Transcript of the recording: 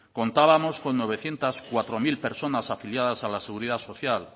contábamos con novecientos cuatro mil personas afiliadas a la seguridad social